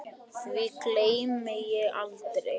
Því gleymi ég aldrei.